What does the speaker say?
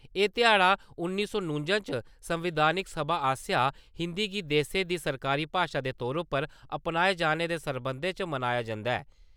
एह ध्याड़ उन्नी सौ नूंजा च संवैधानिक सभा आसेया हिन्दी गी देसै दी सरकारी भाशा दे तौरा पर अपनाए जाने दे सरबंधै च मनाया जन्दा ऐ।